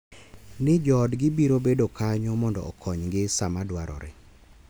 Ni joodgi biro bedo kanyo mondo okonygi sama dwarore.